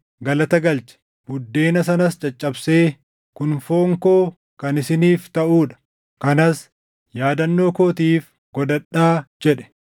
galata galche; buddeena sanas caccabsee, “Kun foon koo kan isiniif taʼuu dha; kanas yaadannoo kootiif godhadhaa” jedhe.